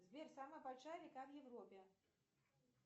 сбер самая большая река в европе